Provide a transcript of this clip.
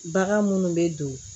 Bagan munnu bɛ don